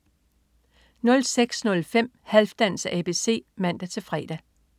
06.05 Halfdans ABC (man-fre)